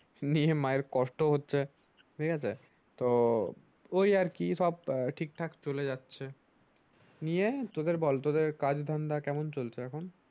নিয়ে মায়ের কষ্ট হচ্ছে ঠিকাছে তো ওই আর কি আহ ঠিক ঠাক চলে যাচ্ছে নিয়ে তোদের বল তোদের কাজ ধান্দা কেমন চলছে এখন ।